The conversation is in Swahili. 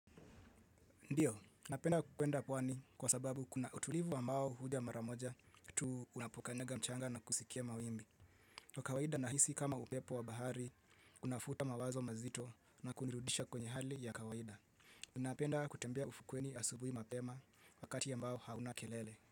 Ndiyo, napenda kwenda pwani kwa sababu kuna utulivu ambao huja mara moja tu unapokanyaga mchanga na kusikia mawimbi. Kwa kawaida nahisi kama upepo wa bahari unafuta mawazo mazito na kunirudisha kwenye hali ya kawaida. Napenda kutembea ufukweni asubuhi mapema wakati ambao hauna kelele.